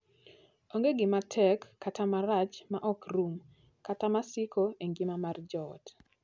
Onge gima tek kata marach ma ok rum kata masiko e ngima mar joot.